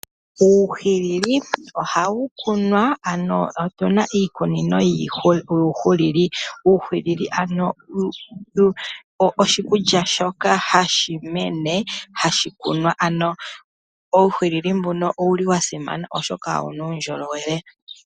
Uuhilili ohawu kunwa ano otuna iikunino yuuhilili. Uuhilili oshikulya shoka hashi mene hashi kunwa, uuhili mbuno owuli wa simana oshoka owuna uundjolowele.